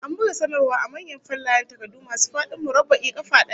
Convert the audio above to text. An buga sanarwar a manyan fallayen takardu masu fadin murabba'in kafa daya